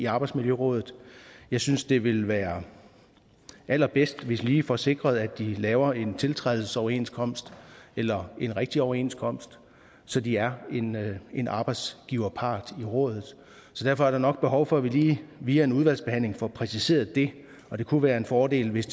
arbejdsmiljøråd jeg synes det vil være allerbedst hvis vi lige får sikret at de laver en tiltrædelsesoverenskomst eller en rigtig overenskomst så de er en arbejdsgiverpart i rådet derfor er der nok behov for at vi lige via en udvalgsbehandling får præciseret det og det kunne være en fordel hvis